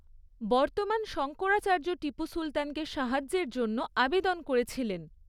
বর্তমান শঙ্করাচার্য টিপু সুলতানকে সাহায্যের জন্য আবেদন করেছিলেন।